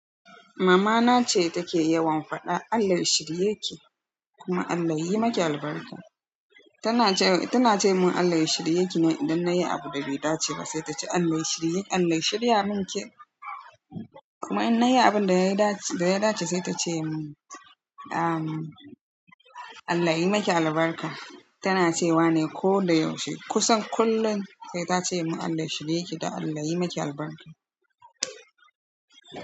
Mamana ce take yawan faɗa Allah ya shirye ki kuma Allah yayi maki albarka. Tana ce, tana ce mun Allah ya shirye ki idan nayi abu da bai dace ba, sai ta ce Allah ya shirye, Allah ya shirya min ke. Amma in nayi abinda ya dace, sai tace min, Allah yayi miki albarka. Tana cewa ne ko da yaushe. Kusan kullum sai ta ce mun Allah ya shirye ki da Allah ya yi maki albarka.